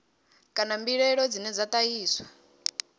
kana mbilaelo dzine dza ṱahiswa